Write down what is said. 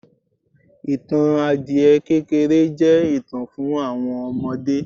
ìtàn adiẹ kékéré je itan fún àwọn ọmọdé